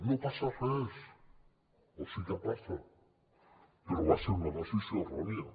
no passa res o sí que passa però va ser una decisió errònia